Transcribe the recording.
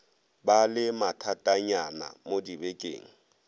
ba le mathatanyana mo dibekeng